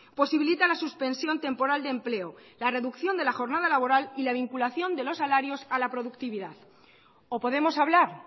posibilita la suspensión temporal de empleo la reducción de la jornada laboral y la vinculación de los salarios a la productividad o podemos hablar